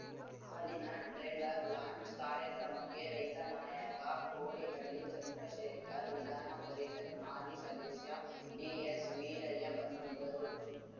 ಆ ದಿನ trailer launch ಕಾರ್ಯಕ್ರಮಕ್ಕೆ ರೈತ ನಾಯಕ ಕೋಡಿಹಳ್ಳಿ ಚಂದ್ರಶೇಖರ್‌ ವಿಧಾನ ಪರಿಷತ್‌ ಮಾಜಿ ಸದಸ್ಯ ಡಿಎಸ್‌ವೀರಯ್ಯ ಬಂದಿದ್ದರು